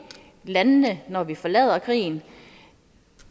landene når vi forlader krigen